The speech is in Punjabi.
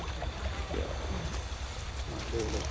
ਹਾਂ ਦੇਖਲੋ